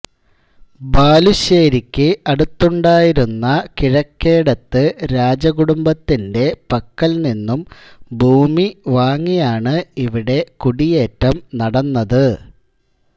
ബാലുശ്ശേരിക്ക് അടുത്തുണ്ടായിരുന്ന കിഴക്കേടത്ത് രാജകുടുംബത്തിൻറെ പക്കൽ നിന്നും ഭൂമി വാങ്ങിയാണ് ഇവിടെ കുടിയേറ്റം നടന്നത്